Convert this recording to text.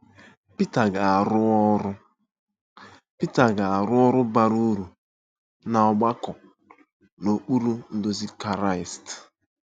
Pita ga-arụ ọrụ Pita ga-arụ ọrụ bara uru n’ọgbakọ n’okpuru nduzi Kraịst.